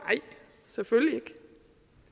selvfølgelig ikke